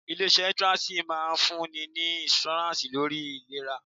Ilé iṣẹ́ insurance máa ń fún ni ní insurance lórí ìlera.